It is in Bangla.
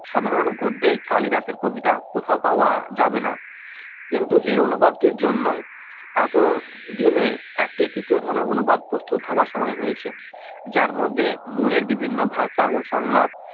সাধারণ গদ্যে কালিদাসের কবিতা কোথাও পাওয়া যাবে না কিন্তু এই অনুবাদ টির জন্য এত দিনে একটি তৃতীয় ধরনের অনুবাদ প্রচুর ভাবার সময় হয়েছে যার মধ্যে মনের বিভিন্ন ভাষা ও সংলাপ